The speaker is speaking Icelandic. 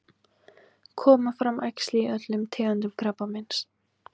koma fram æxli í öllum tegundum krabbameins